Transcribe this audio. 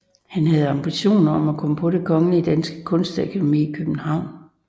Han havde ambition om at komme på Det Kongelige Danske Kunstakademi i København